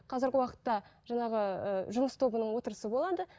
қазірге уақытта жаңағы ыыы жұмыс тобының отырысы болады